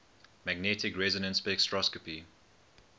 magnetic resonance spectroscopy